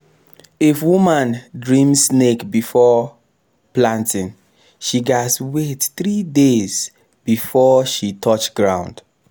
if woman dream snake before planting she gats wait three days before she touch ground.